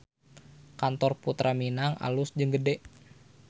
Kantor Purta Minang alus jeung gede